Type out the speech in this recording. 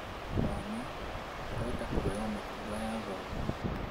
Mwana, ũrenda kũoya mĩtugo ya thoguo